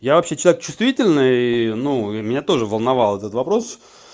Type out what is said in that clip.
я вообще чувствительный и ну меня тоже волновал этот вопрос